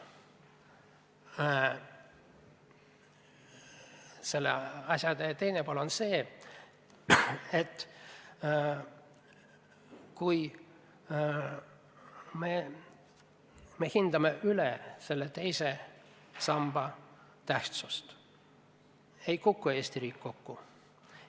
Selle asja teine pool on aga see, et kui me hindame teise samba tähtsust üle, ei kuku Eesti riik kokku.